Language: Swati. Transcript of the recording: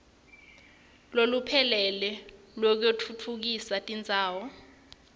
loluphelele lwekutfutfukisa tindzawo